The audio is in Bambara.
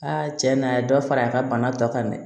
Aa cɛ na a ye dɔ fara a ka bana dɔ kan dɛ